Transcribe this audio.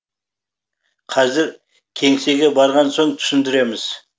қазір кеңсеге барған соң түсіндіреміз